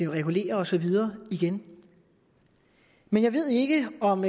regulerer og så videre igen men jeg ved ikke om